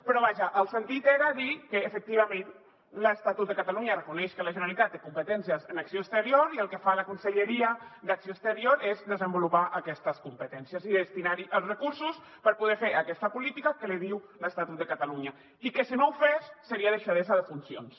però vaja el sentit era dir que efectivament l’estatut de catalunya reconeix que la generalitat té competències en acció exterior i el que fa la conselleria d’acció exterior és desenvolupar aquestes competències i destinar hi els recursos per poder fer aquesta política que li diu l’estatut de catalunya i que si no ho fes seria deixadesa de funcions